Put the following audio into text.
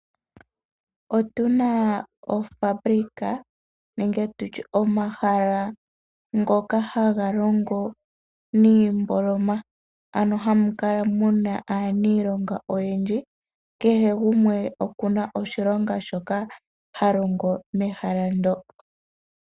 Otu na ofabulika nenge tutye omahala ngoka haga logo niimboloma hamu kala muna aanilonga oyendji, kehe gumwe oku na shilonga shoka ha longo mehala ndo.